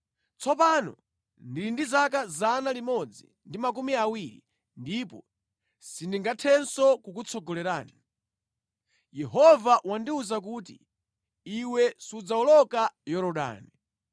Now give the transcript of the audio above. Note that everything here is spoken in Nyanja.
“Tsopano ndili ndi zaka 120, ndipo sindingathenso kukutsogolerani. Yehova wandiwuza kuti, ‘Iwe sudzawoloka Yorodani.’